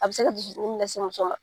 A be se ka dusukun dimi lase muso ma.